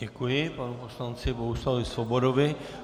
Děkuji panu poslanci Bohuslavu Svobodovi.